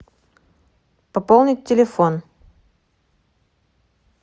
пополнить телефон